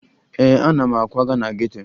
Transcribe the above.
Ee, ana m akwaga na geto